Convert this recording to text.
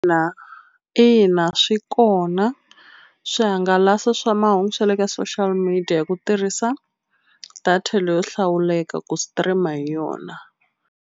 Ina ina swi kona swihangalasi swa mahungu swa le ka social media hi ku tirhisa data leyo hlawuleka ku stream-a hi yona.